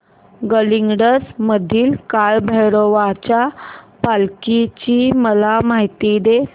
गडहिंग्लज मधील काळभैरवाच्या पालखीची मला माहिती दे